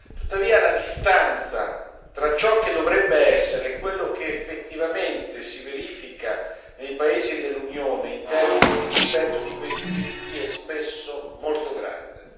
Tuttavia, la distanza tra ciò che dovrebbe essere e quello che effettivamente si verifica nei paesi dell'Unione in termini di rispetto di questi diritti è spesso molto grande.